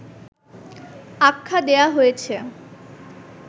আখ্যা দেয়া হয়েছে